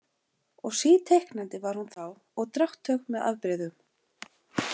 Og síteiknandi var hún þá og drátthög með afbrigðum.